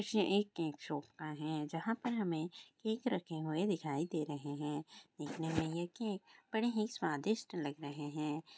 ये एक cake shop का है जहाँ पर हमें केक रखे हुए दिखाई दे रहें हैं देखने में ये केक बड़े ही स्वादिष्ट लग रहें हैं।